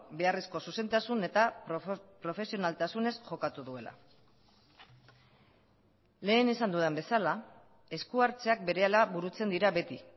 beharrezko zuzentasun eta profesionaltasunez jokatu duela lehen esan dudan bezala esku hartzeak berehala burutzen dira beti